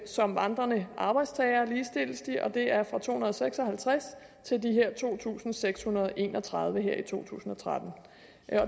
som vandrende arbejdstagere og det er fra to hundrede og seks og halvtreds til de her to tusind seks hundrede og en og tredive her i to tusind og tretten